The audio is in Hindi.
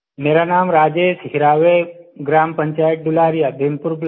मेरा नाम राजेश हिरावे ग्राम पंचायत डुलारिया भीमपुर ब्लॉक